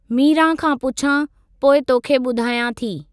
मीरा खां पुछां, पोइ तोखे बु॒धायां थी।